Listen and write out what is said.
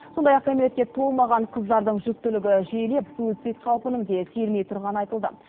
сондай ақ кәмелетке толмаған қыздардың жүктілігі жиілеп суицид қаупінің де сейілмей тұрғаны айтылды